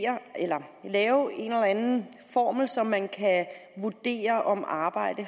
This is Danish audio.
eller anden formel så man kan vurdere om arbejde